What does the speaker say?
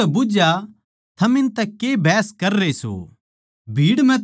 यीशु नै उनतै बुझ्झया थम इनतै के बहस कररे सो